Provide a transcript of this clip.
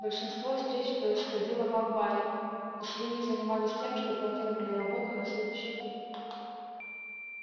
большинство встреч происходило в амбаре и свиньи занимались тем что планировали работу на следующий год